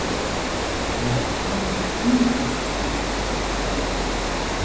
Ég var beðin fyrir rúllupylsu til þín, sagði hún.